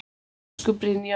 Elsku Brynjar okkar.